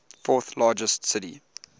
fourth largest city